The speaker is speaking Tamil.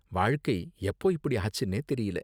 வாழ்க்கை எப்போ இப்படி ஆச்சுன்னே தெரியல.